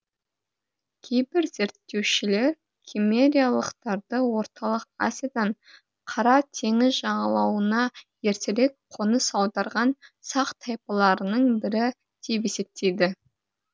кейбір зерттеушілер киммериялықтарды орталық азиядан қара теңіз жағалауына ертерек қоныс аударған сақ тайпаларының бірі деп есептейді